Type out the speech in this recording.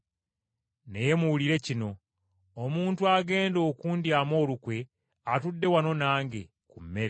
Naye muwulire kino. Omuntu agenda okundyamu olukwe atudde wano nange ku mmere.